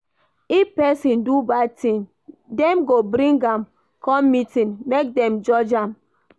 If pesin do bad tin, dem go bring am come meeting, make dem judge am.